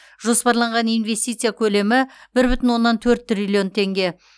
жоспарланған инвестиция көлемі бір бүтін оннан төрт триллион теңге